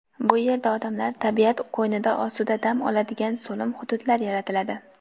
Bu yerda odamlar tabiat qo‘ynida osuda dam oladigan so‘lim hududlar yaratiladi.